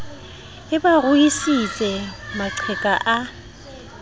e ba ruisitse maqheka a